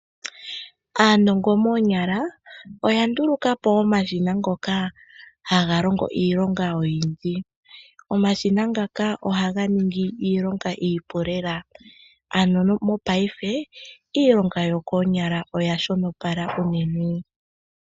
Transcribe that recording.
Aanongo moonyala oya ndulukapo omashina ngoka haga longo iilonga oyindji. Omashina ngaka ohaga ningi iilonga iipu lela ano mopaife iilonga yokoonyala oya shonopala unene.